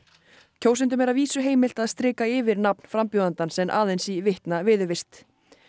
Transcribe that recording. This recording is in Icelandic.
kjósendum er að vísu heimilt að strika yfir nafn frambjóðandans en aðeins í vitna viðurvist